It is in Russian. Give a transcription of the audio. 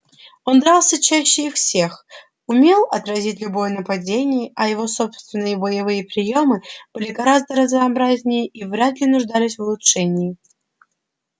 он дрался чаще их всех умел отразить любое нападение а его собственные боевые приёмы были гораздо разнообразнее и вряд ли нуждались в улучшении